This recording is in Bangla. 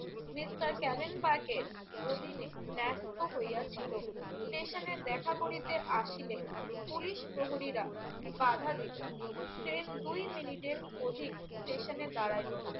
মিস্টার ক্যারেন বার্কের অধীনে ন্যাস্ত হইয়াছিল। স্টেশনে দেখা করিতে আসিলে পুলিশ প্রহরীরা বাঁধা দিল। ট্রেন দুই মিনিটের অধিক স্টেশনে দাঁড়াইল না।